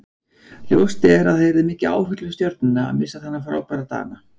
Ljóst er að það yrði mikið áfall fyrir Stjörnuna að missa þennan frábæra Dana.